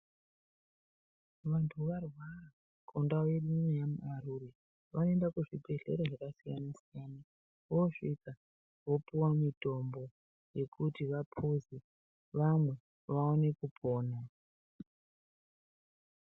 Vanthu varwara kundau ineyi yaMarure vanoenda kuzvibhedhlera zvakasiyana-siyana, vosvika vopuwa mitombo, yekuti vaphuze, vamwe, vaone kupona.